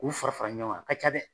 K'u fara fara ɲɔn kan a ka ca dɛ.